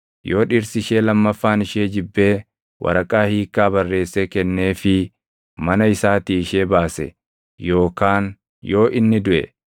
yoo dhirsi ishee lammaffaan ishee jibbee waraqaa hiikkaa barreessee kenneefii mana isaatii ishee baase yookaan yoo inni duʼe,